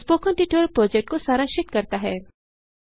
यह spoken tutorial project को सारांशित करता है